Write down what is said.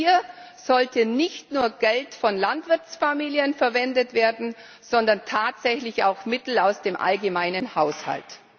Und hier sollte nicht nur Geld von Landwirtsfamilien verwendet werden, sondern tatsächlich auch Mittel aus dem allgemeinen Haushalt.